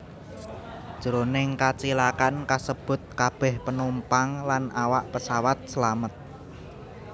Jroning kacilakan kasebut kabèh penumpang lan awak pesawat slamet